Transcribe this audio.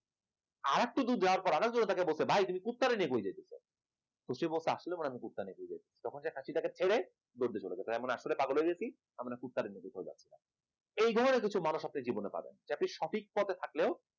আর একটু দূর যাওয়ার পর আর একজন তাকে বলছে ভাই তুই কুত্তারে নিয়ে কই যাইতেছিস সে বলছে আসলেই বোধহয় আমি কুত্তা নিয়ে আইছে। তখন খাসিটাকে ফেলে দৌড় দিয়ে চলে যায় এমন আমি আসলে পাগল হয়ে গেছে আমি কুত্তারে নিয়ে চলে আইছি, এই ধরনের কিছু মানুষ আছে এই জীবনে পাওয়া যায় সঠিক পথে থাকলে